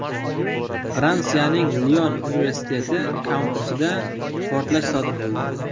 Fransiyaning Lion universiteti kampusida portlash sodir bo‘ldi.